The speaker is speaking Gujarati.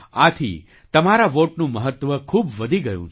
આથી તમારા વૉટનું મહત્ત્વ ખૂબ વધી ગયું છે